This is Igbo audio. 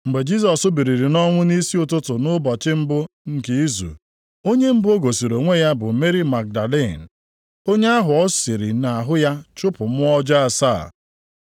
Mgbe Jisọs biliri nʼọnwụ nʼisi ụtụtụ nʼụbọchị mbụ nke izu, onye mbụ o gosiri onwe ya bụ Meri Magdalin, onye ahụ o siri nʼahụ ya chụpụ mmụọ ọjọọ asaa.